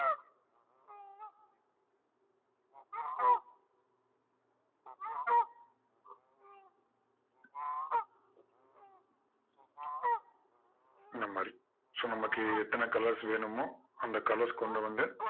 அந்த மாதிரி so நமக்கு எத்தனை colors வேணுமோ அந்த colors கொண்டு வந்து